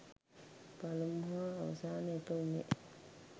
පලමු හා අවසාන එක උනේ